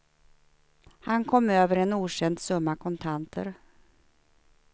Han kom över en okänd summa kontanter.